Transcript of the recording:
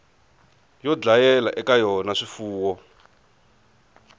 yo dlayela eka yona swifuwo